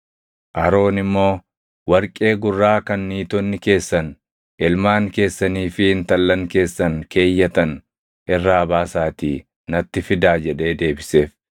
Aroon immoo, “Warqee gurraa kan niitonni keessan, ilmaan keessanii fi intallan keessan keeyyatan irraa baasaatii natti fidaa” jedhee deebiseef.